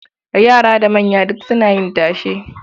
Yara da manya duk suna yin tashe.